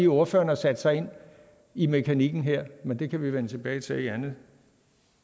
ordføreren har sat sig ind i mekanikken her men det kan vi vende tilbage til i anden